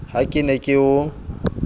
ha ke ne ke o